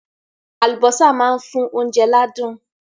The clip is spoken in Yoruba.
Àlùbọ́sà máa ń fún oúnjẹ ládùn.